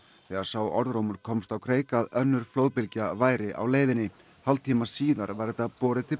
þegar sá orðrómur komst á kreik að önnur flóðbylgja væri á leiðinni hálftíma síðar var þetta borið til